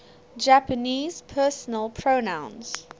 japanese personal pronouns